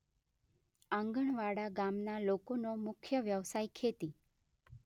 આંગણવાડા ગામના લોકોનો મુખ્ય વ્યવસાય ખેતી